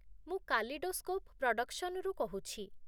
ମୁଁ କାଲିଡୋସ୍କୋପ୍ ପ୍ରଡକ୍ସନରୁ କହୁଛି ।